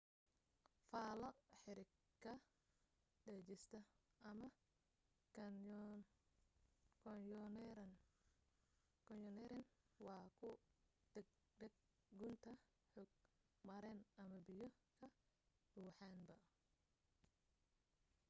faallo xarig ka degista ama: kaanyoneerin waa ku daadag gunta hog maran ama biyo ka buuxaanba